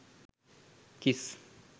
kiss